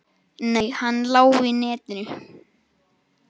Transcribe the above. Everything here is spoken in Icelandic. Nei, hann lá í netinu.